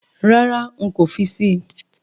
Rárá, nkò fi síi